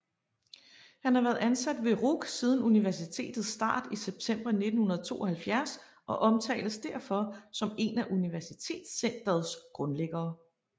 Han har været ansat ved RUC siden universitetets start i september 1972 og omtales derfor som en af universitetscenterets grundlæggere